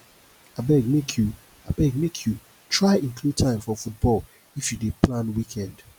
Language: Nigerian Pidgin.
abeg make you abeg make you try include time for football if you dey plan weekend